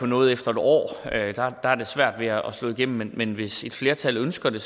noget efter en år der har det svært ved at slå igennem men hvis et flertal ønsker det